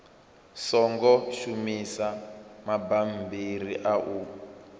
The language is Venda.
songo shumisa mabammbiri a u